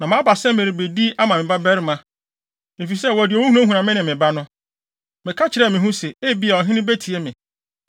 “Na maba sɛ merebedi ama me babarima, efisɛ wɔde owu hunahuna me ne me ba no. Meka kyerɛɛ me ho se, ‘Ebia, ɔhene betie me,